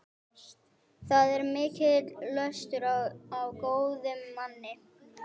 Það er mikill löstur á góðum manni.